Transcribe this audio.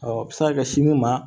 a bɛ se ka kɛ sini ma